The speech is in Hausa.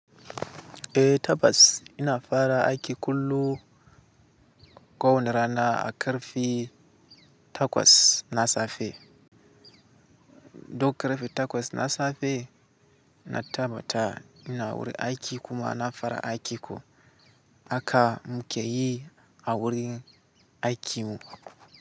Eh tabas ina fara aiki kullu kowerana a ƙarfe takwas na safe. Duk ƙarfe takwas na safe na tabbata ina wurin aiki kuma na fara aiki ko haka muke yi a wurin aikin mu.